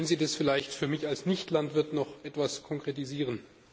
Können Sie das vielleicht für mich als Nichtlandwirt noch etwas konkretisieren?